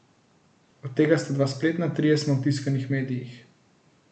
Od tega sta dva spletna, trije smo v tiskanih medijih.